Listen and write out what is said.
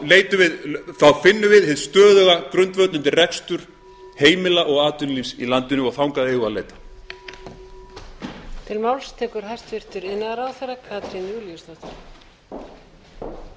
finnum við hinn stöðuga grundvöll undir rekstur heimila og atvinnulífs í landinu og þangað eigum við að leita